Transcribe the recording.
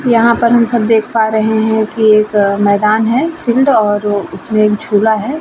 यहाँ पर म सब देख पा रहे हैं कि एक मैदान है फील्ड और उसमें एक झुला है।